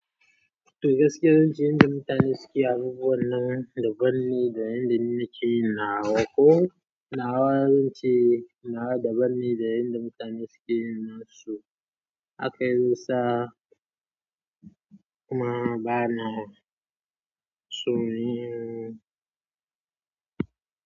To gaskiya zan ce yanda mutane suke abubuwan nan ban daban ne da yanda ni nake yin nawa ko nawa zan ce nawa da ban da yanda mutane suke yin nasu. Hakan yasa kuma bana son yin.